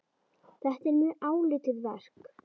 Þetta er mjög áleitið verk.